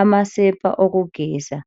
amasepa okugeza.